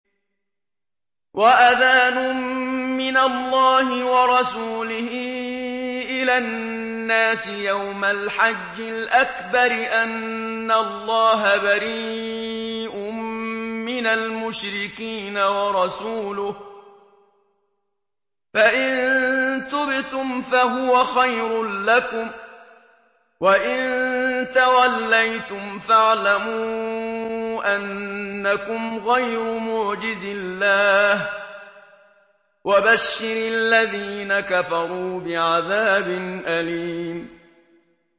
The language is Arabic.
وَأَذَانٌ مِّنَ اللَّهِ وَرَسُولِهِ إِلَى النَّاسِ يَوْمَ الْحَجِّ الْأَكْبَرِ أَنَّ اللَّهَ بَرِيءٌ مِّنَ الْمُشْرِكِينَ ۙ وَرَسُولُهُ ۚ فَإِن تُبْتُمْ فَهُوَ خَيْرٌ لَّكُمْ ۖ وَإِن تَوَلَّيْتُمْ فَاعْلَمُوا أَنَّكُمْ غَيْرُ مُعْجِزِي اللَّهِ ۗ وَبَشِّرِ الَّذِينَ كَفَرُوا بِعَذَابٍ أَلِيمٍ